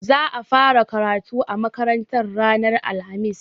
Za a fara karatu a makarantar ranar alhamis.